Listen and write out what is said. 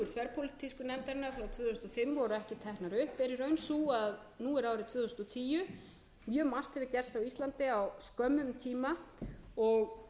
teknar upp er í raun sú að nú er árið tvö þúsund og tíu mjög margt hafur gerst á íslandi á skömmum tíma og